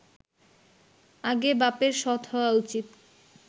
আগে বাপের সৎ হওয়া উচিত